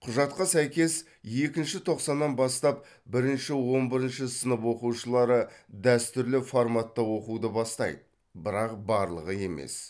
құжатқа сәйкес екінші тоқсаннан бастап бірінші он бірінші сынып оқушылары дәстүрлі форматта оқуды бастайды бірақ барлығы емес